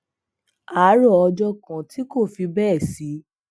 àárò ọjó kan tí kò fi béè sí